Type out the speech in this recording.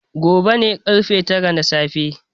Gobe ne ƙarfe tara na safe.